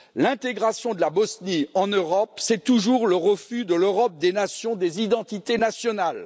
L'intégration de la Bosnie en Europe, c'est toujours le refus de l'Europe des nations et des identités nationales.